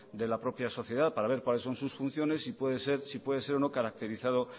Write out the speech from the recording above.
de la propia sociedad para ver cuáles son sus funciones y si puede ser o no caracterizado